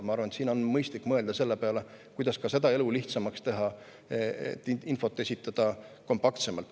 Ma arvan, et siin on mõistlik mõelda ka selle peale, kuidas selles mõttes elu lihtsamaks teha ja esitada infot kompaktsemalt.